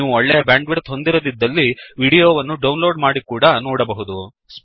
ನೀವು ಒಳ್ಳೆಯ ಬ್ಯಾಂಡ್ವಿಡ್ತ್ ಹೊಂದಿರದಿದ್ದಲ್ಲಿ ವಿಡಿಯೋ ವನ್ನು ಡೌನ್ಲೋಡ್ ಮಾಡಿ ಕೂಡಾ ನೋಡಬಹುದು